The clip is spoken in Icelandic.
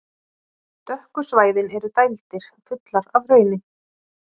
Dökku svæðin eru dældir, fullar af hrauni.